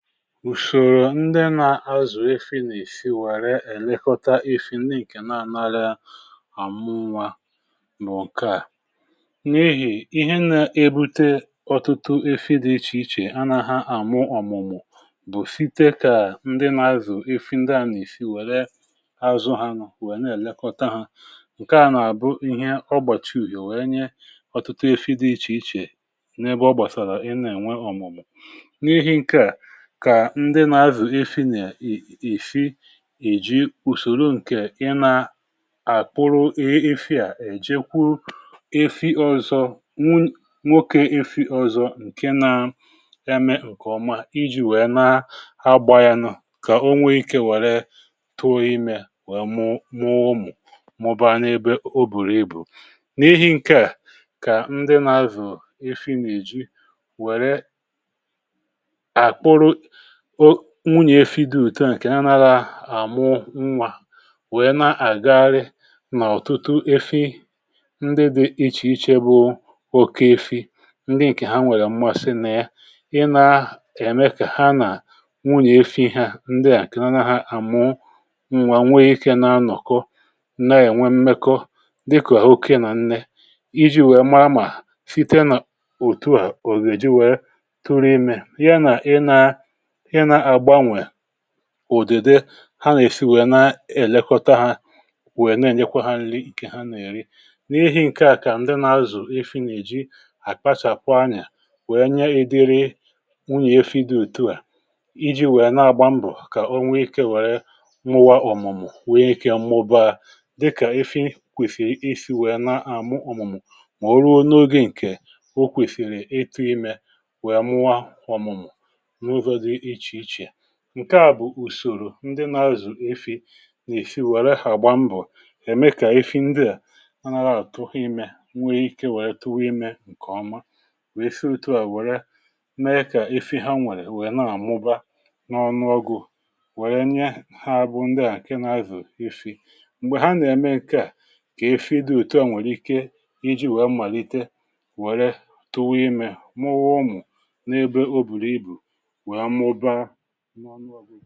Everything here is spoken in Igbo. ùshòrò ndị nȧ-azù efi nà-èsi wère èlekọta efi ndị ǹkè na-ànarị àmụ nwa um mà ụ̀ke à n’ihì ihe nȧ-ebute ọtụtụ efi dị̇ ichè ichè a na ha àmụ ọ̀mụ̀mụ̀ bù site kà ndị nȧ-azù efi ndị à nà-èsi wère azụ̇ ha nọ̀ wèe na-èlekọta ha ǹkè a nà-àbụ ihe ọgbàchị ùhìò wee nye ọ̀tụtụ efi dị̇ ichè ichè n’ebe ọ gbàsàrà ị na-ènwe ọ̀mụ̀mụ̀ n’ihi ǹke à kà ndị na-avụ̀ efi nà-èfi èji ùsòro ǹkè ị na-àkpụrụ efi à èjikwu efi ọzọ nwoke efi ọzọ ǹke na ya mee ǹkè ọma iji̇ wèe na ha gbaa yanụ kà o nwee ike wère tụọ imė wèe mụ mụ mụ̀rụ̀, ọbùrù ibù n’ihi̇ ǹke kà ndị na-azụ̀o efi na-èji wère nwunyè efi dị u̇tu ẹ̀ nkè ya nàrà àmụ nwà wèe na-àgagharị nà ọ̀tụtụ efi ndị dị ichè ichè bụ oke efi ndị ǹkè ha nwèrè m̀masi nà ị na-eme kà ha nà nwunyè efi ha ndị à kèya na ha àmụ nwà nwee ikė um na-anọ̀kọ ǹna yà nwee mmekọ dịkà àhụkwa nà ǹne iji̇ wèe mara site nà òtuà ògèji wèe tụrụ imė ya nà ị nà ùdede ha nà-èsi nwèrè na-èlekọta ha nwèrè na-ènyekwa ha nri̇ ike ha nà-èri n’ihi ǹke à kà ǹdị nà-azụ̀ efi nà-èji àkpachàkwa anyȧ nwèe nye èdere wụ n’ihefi dị ùtu à iji̇ nwèe na-agba mbọ̀ kà onwe ikė nwère mụwa ọ̀mụ̀mụ̀ nwee ikė mmụba dịkà efi kwèsìrì e si nwèe na-àmụ ọ̀mụ̀mụ̀ mà o ruo n’ogė ǹkè o kwèsìrì etu imė nwèe mụwa ọ̀mụ̀mụ̀ ǹke à bụ̀ ùsòrò ndị na-azụ̀ efi nà-èfi wère hàgba mbọ̀ ème kà efi ndịà ha nȧhȧ tụghị imė nwee ike wère tụwị imė ǹkèọma wèe fị otu à wère n’e kà efi ha nwèrè wèe na-àmụba n’ọnụọgwụ̀ wèe nye ha abụọ̇ ndịà ǹke na-azụ̀ efi m̀gbè ha nà-ème ǹke à kà efi dị òtù ahụ̀ nwèrè ike iji̇ wèe mmàlite wère tụwụ imė mụọ wụ̀ n’ebe o bùrù ibù nụ ọnụ ọgwụghị